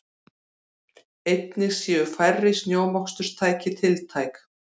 Einnig séu færri snjómoksturstæki tiltæk